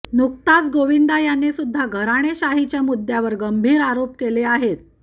नुकताच गोविंदा याने सुद्धा घराणेशाहीच्या मुद्यावर गंभीर आरोप केले आहेत